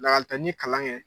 Lakali ta ɲi kalan kɛ